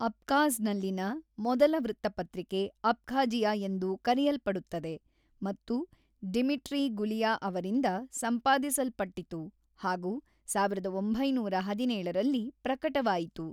ಅಬ್ಖಾಝ್‌ನಲ್ಲಿನ ಮೊದಲ ವೃತ್ತಪತ್ರಿಕೆ ಅಬ್ಖಾಜಿಯಾ ಎಂದು ಕರೆಯಲ್ಪಡುತ್ತದೆ ಮತ್ತು ಡಿಮಿಟ್ರಿ ಗುಲಿಯಾ ಅವರಿಂದ ಸಂಪಾದಿಸಲ್ಪಟ್ಟಿತು ಹಾಗೂ ಸಾವಿರದ ಒಂಬೈನೂರ ಹದಿನೇಳರಲ್ಲಿ ಪ್ರಕಟವಾಯಿತು.